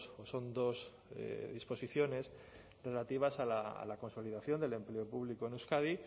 o son dos disposiciones relativas a la consolidación del empleo público en euskadi